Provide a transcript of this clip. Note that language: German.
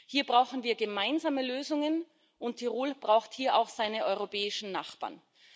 Hier brauchen wir gemeinsame Lösungen, und Tirol braucht hier auch seine europäischen Nachbarn.